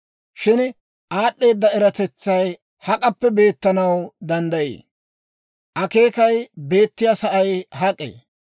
«Shin aad'd'eeda eratetsay hak'appe beettanaw danddayii? Akeekay beettiyaa sa'ay hak'ee?